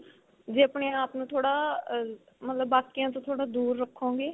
ਜੇ ਆਪਣੇ ਆਪ ਨੂੰ ਥੋੜਾ ਮਤਲਬ ਬਾਕੀਆ ਤੋ ਥੋੜਾ ਦੂਰ ਰੱਖੋਗੇ.